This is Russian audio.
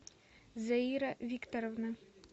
заира викторовна